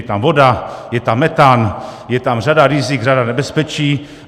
Je tam voda, je tam metan, je tam řada rizik, řada nebezpečí.